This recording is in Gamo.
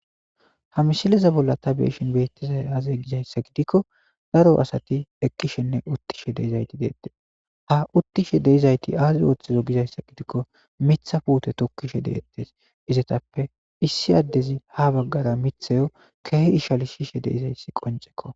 Ha mishileza bolla ta beeshin beettizay aaze gizayssa gidikko daro asati eqqishenne uttishe deeizayti deette ha uttishe deeizayti aazi ooththizo gizayssa gidikko mitha puute tokkishe deettes izatappe issi addezi ha baggara mithayo keehi ishali shishe deizayssi qonceko